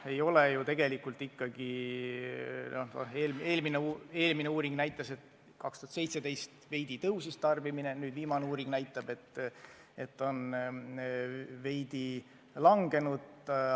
Eelmine uuring näitas, et 2017. aastal tarbimine veidi kasvas, viimane uuring näitab, et see on veidi vähenenud.